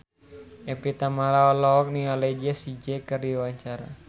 Evie Tamala olohok ningali Jessie J keur diwawancara